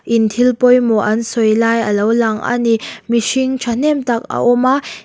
in thil pawimawh an sawi lai a lo lang a ni mihring thahnem tak a awm a--